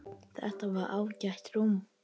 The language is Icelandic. Þetta var ágætt rúm.